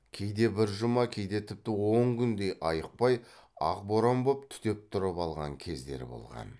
кейде бір жұма кейде тіпті он күндей айықпай ақ боран боп түтеп тұрып алған кездері болған